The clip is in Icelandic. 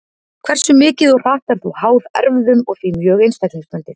Hversu mikið og hratt er þó háð erfðum og því mjög einstaklingsbundið.